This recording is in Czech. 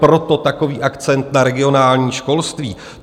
Proto takový akcent na regionální školství.